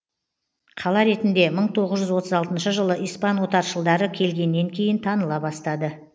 қала ретінде мың тоғыз жүз отыз алтыншы жылы испан отаршылдары келгеннен кейін таныла бастады